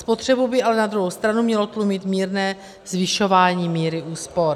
Spotřebu by ale na druhou stranu mělo tlumit mírné zvyšování míry úspor.